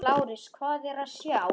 LÁRUS: Hvað er að sjá?